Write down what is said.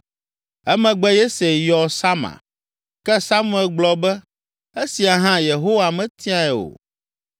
Emegbe Yese yɔ Sama, ke Samuel gblɔ be, “Esia hã Yehowa metiae o.”